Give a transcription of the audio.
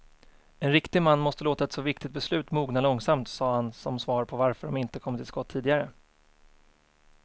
En riktig man måste låta ett så viktigt beslut mogna långsamt, sade han som svar på varför de inte kommit till skott tidigare.